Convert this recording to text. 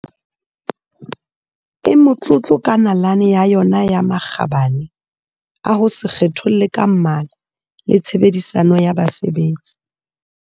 e motlotlo ka nalane ya yona ya makgabane a ho se kgetholle ka mmala le tshe bedisano ya basebetsi.